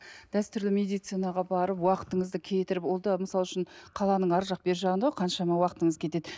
дәстүрлі медицинаға барып уақытыңызды кетіріп ол да мысал үшін қаланың арғы жақ бергі жағында ғой қаншама уақытыңыз кетеді